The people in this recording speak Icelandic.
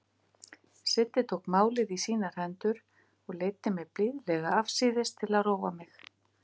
Siddi tók málið í sínar hendur og leiddi mig blíðlega afsíðis til að róa mig.